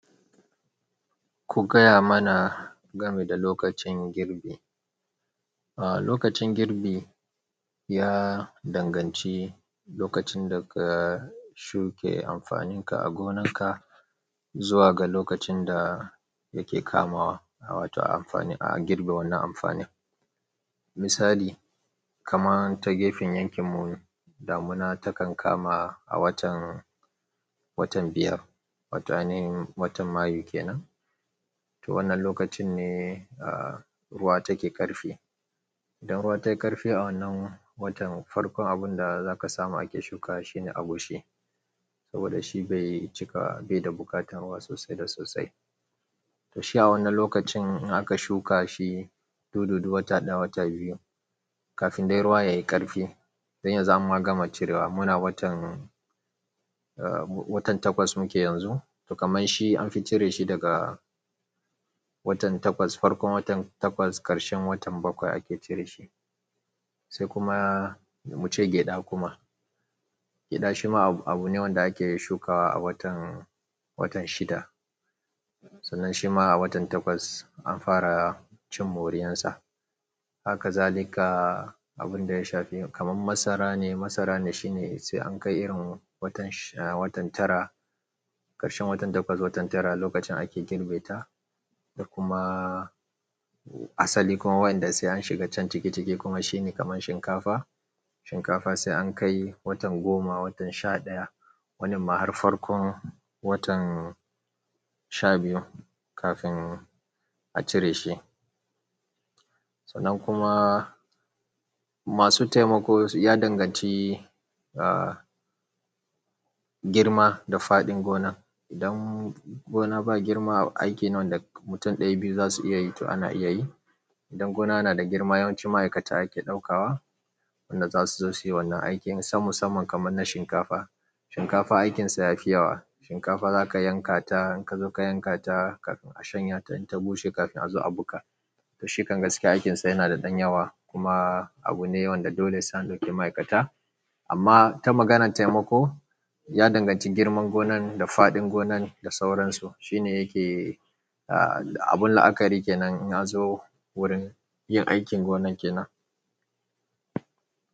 Ku gaya mana game da lokacin girbi. Aaa lokacin girbi ya danganci lokacin da ka shuke amfaninka a gonan ka zuwa ga lokacin da yake kamawa, a wato amfani a girbe wannan amfani. Misali kaman ta gefen yankin mu damuna takan kama a watan, watan biyar wato ainahin watan mayu kenan. To wannan lokacin ne aa ruwa take ƙarfi. Idan ruwa tayi ƙarfi a wannan watan farkon abun da zaka samu ake shukawa shine agushi. Saboda shi bai cika bai da buƙatar ruwa sosai da sosai. To shi a wannan lokacin in aka shuka shi, dudu wata ɗaya wata biyu kafin dai ruwa yayi ƙarfi. Dan yanzu an ma gama cirewa muna watan aa watan takwas muke yanzu. To kaman shi anfi cire shi daga watan takwas farkon watan takwas ƙarshen watan bakwai ake cire shi. Sai kuma muce gyaɗa kuma. Gyaɗa shima abu ne wanda ake shukawa a watan, watan shida. Sannan shima a watan takwas an fara cin moriyansa. Haka zalika abinda ya shafi kaman masara ne masarane shine sai an kai irin watan shi watan tara. Ƙarshen watan takwas watan tara lokacin ake girbe ta. Kuma asali kuma wayanda sai an shiga can ciki ciki kuma shine kaman shinkafa. Shinkafa sai an kai watan goma watan sha ɗaya wani ma har farkon watan sha biyu kafin a cire shi. To nan kuma masu taimako ya danganci girma da faɗin gonar. Idan gona ba girma aiki ne wanda mutum ɗaya biyu za su iya yi to ana iya yi. Idan gona na da girma yawanci ma'aikata ake ɗaukawa. Wanda zasu zo suyi wannan aikin. Sam musaman kaman na shinkafa. Shinkafa aikinsa yafi yawa. Shinkafa zaka yankata in ka zo ka yankata kafin a shanya ta in ta bushe kafin a zo a buga. To shikan gaskiya aikinsa yana da ɗan yawa kuma abu ne wanda dole sai an ɗauki ma'aikata. Amma ta maganar taimako ya danganci girman gonan da faɗin gonan da sauransu. Shine yake aa abun la'akari kenan in na zo wurin yin aikin gonan kenan.